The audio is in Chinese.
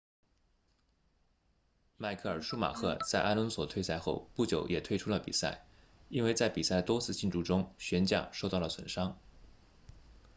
迈克尔舒马赫在阿隆索退赛后不久也退出了比赛因为在比赛的多次竞逐中悬架受到了损伤